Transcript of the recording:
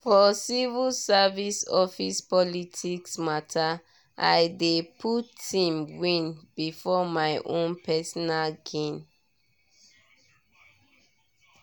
for civil service office politics matter i dey put team win before my own personal gain.